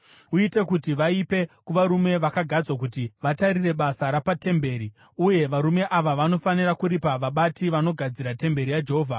Uite kuti vaipe kuvarume vakagadzwa kuti vatarire basa rapatemberi. Uye varume ava vanofanira kuripa vabati vanogadzira temberi yaJehovha,